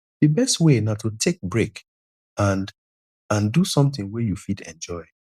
di best way na to take break and and do something wey you fit enjoy